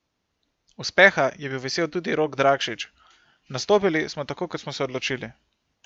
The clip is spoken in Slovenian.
Uspeha je bil vesel tudi Rok Drakšič: "Nastopili smo tako, kot smo se odločili.